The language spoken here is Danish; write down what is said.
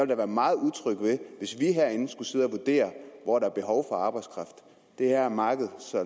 da være meget utryg ved hvis vi herinde skulle sidde og vurdere hvor der er behov for arbejdskraft det er markedet